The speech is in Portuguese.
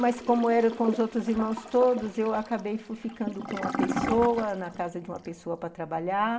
Mas, como era com os outros irmãos todos, eu acabei ficando com uma pessoa, na casa de uma pessoa, para trabalhar.